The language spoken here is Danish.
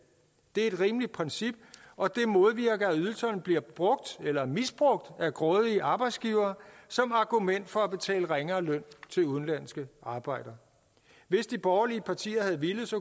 det er et rimeligt princip og det modvirker at ydelserne bliver brugt eller misbrugt af grådige arbejdsgivere som argument for at betale ringere løn til udenlandske arbejdere hvis de borgerlige partier havde villet